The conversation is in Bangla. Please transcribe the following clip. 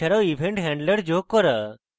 এছাড়াও event handlers যোগ করা